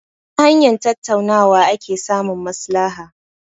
Ta hanyar tattaunawa ake samun maslaha.